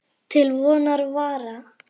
Til vonar og vara.